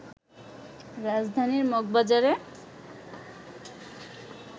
রাজধানীর মগবাজারে